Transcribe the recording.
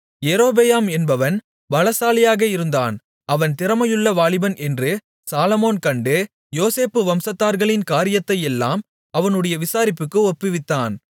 யெரொபெயாம் என்பவன் பலசாலியாக இருந்தான் அவன் திறமையுள்ள வாலிபன் என்று சாலொமோன் கண்டு யோசேப்பு வம்சத்தார்களின் காரியத்தையெல்லாம் அவனுடைய விசாரிப்புக்கு ஒப்புவித்தான்